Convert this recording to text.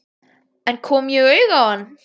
En kom ég auga á hann?